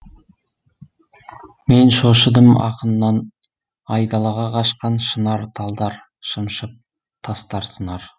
мен шошыдым ақыннан айдалаға қашқан шынар талдар шымшып тастар сынар